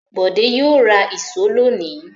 Bọ̀dé yóò ra ìṣó lónìí.